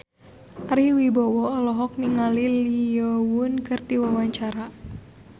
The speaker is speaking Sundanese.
Ari Wibowo olohok ningali Lee Yo Won keur diwawancara